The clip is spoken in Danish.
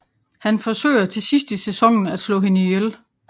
Han forsøger til sidst i sæsonen at slå hende ihjel